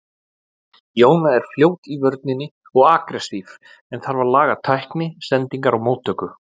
Jóna er fljót í vörninni og agressív en þarf að laga tækni, sendingar og móttöku.